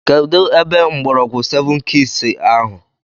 Kedụ mgbọrọgwụ sevụn kiis ahụ?